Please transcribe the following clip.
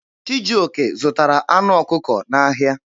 Chijioke zụtara anụ ọkụkọ n'ahịa.